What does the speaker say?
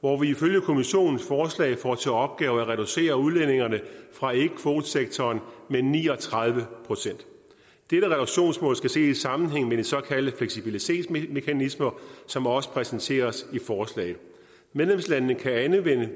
hvor vi ifølge kommissionens forslag får til opgave at reducere udledningerne fra ikkekvotesektoren med ni og tredive procent dette reduktionsmål skal ses i sammenhæng med de såkaldte fleksibilitetsmekanismer som også præsenteres i forslaget medlemslandene kan anvende